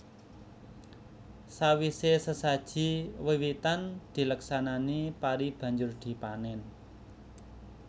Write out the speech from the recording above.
Sawise sesaji wiwitan dileksanani pari banjur dipanen